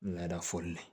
Laada fɔli la